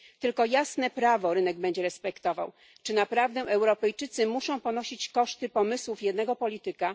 Tylko jasne prawo rynek będzie respektował. Czy naprawdę Europejczycy muszą ponosić koszty pomysłów jednego polityka?